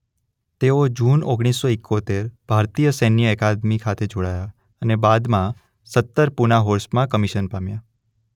તેઓ જૂન ઓગણીસ સો એકોતેર ભારતીય સૈન્ય અકાદમિ ખાતે જોડાયા અને બાદમાં સત્તર પૂના હોર્સમાં કમિશન પામ્યા.